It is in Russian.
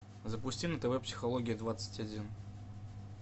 запусти на тв психология двадцать один